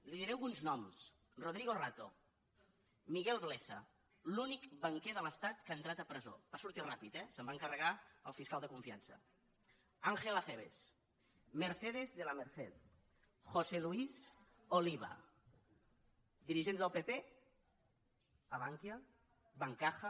li diré alguns noms rodrigo rato miguel blesa l’únic banquer de l’estat que ha entrat a presó va sortir ràpidament eh se’n va encarregar el fiscal de confiança ángel acebes mercedes de la merced josé luis oliva dirigents del pp a bankia bancaja